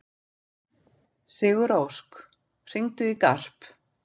Sigurósk, hringdu í Garp.